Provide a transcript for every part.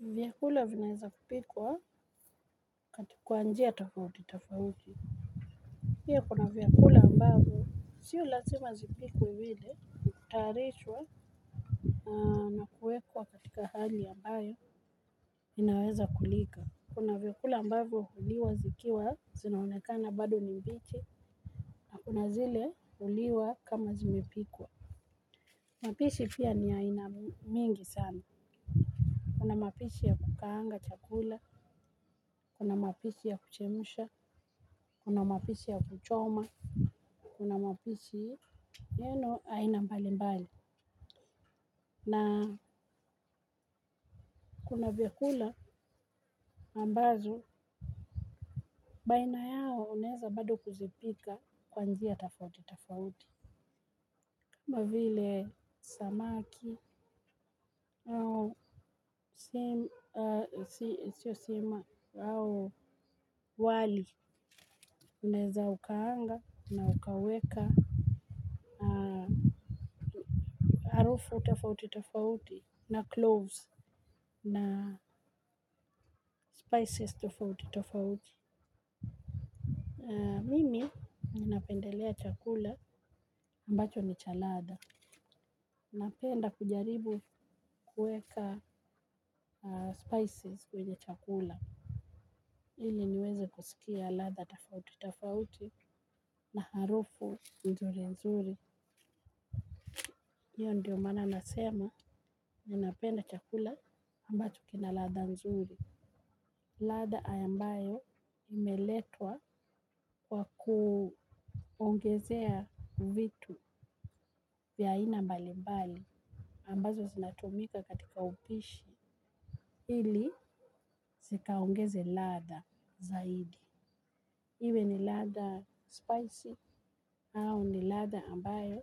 Vyakula vinaweza kupikwa kwa njia tofauti tofauti, pia kuna vyakula ambavyo sio lazima zipikwe hutayarishwa na na kuwekwa katika hali ambayo vinaweza kulika kuna vyakula ambavyo huliwa zikiwa zinaonekana bado ni mbichi na kuna zile huliwa kama zimepikwa. Mapishi pia ni ya aina mingi sana. Kuna mapishi ya kukaanga chakula, kuna mapishi ya kuchemsha, kuna mapishi ya kuchoma, kuna mapishi neno aina mbali mbali, na kuna vyakula ambazo, baina yao unaeza bado kuzipika kwa njia tofauti tofauti. Kama vile samaki au sima au wali unaeza ukaanga na ukaweka. Harufu tofauti tofauti na cloves na spices tofauti tofauti. Mimi ninapendelea chakula ambacho ni cha ladha. Napenda kujaribu kuweka spices kwenye chakula. Ili niweze kusikia ladha tofauti tofauti na harufu nzuri nzuri. Hiyo ndiyo maana nasema ninapenda chakula ambacho kina ladha nzuri. Ladha ambayo imeletwa kwa kuongezea vitu vya aina mbali mbali. Ambazo sinatumika katika upishi. Ili zikaongeze ladha zaidi. Iwe ni ladha spicy au ni ladha ambayo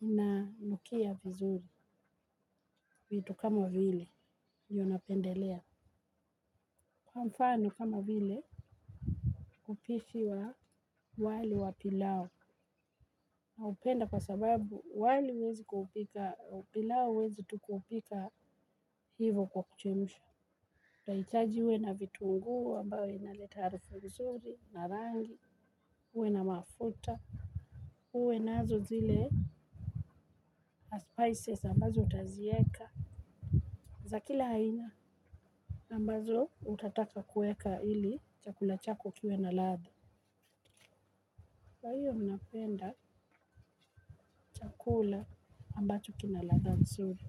inanukia vizuri. Vitu kama vile ndiyo napendelea. Kwa mfano kama vile upishi wa wali wa pilau. Naupenda kwa sababu wali huwezi kuupika pilau huwezi tu kuupika hivo kwa kuchemsha. Utahitaji uwe na vitunguu ambayo inaleta harufu nzuri, na rangi, uwe na mafuta. Uwe nazo zile na spices ambazo utazieka za kila aina. Ambazo utataka kuweka ili chakula chako kiwe na ladha. Kwa hiyo mi napenda chakula ambacho kina ladha nzuri.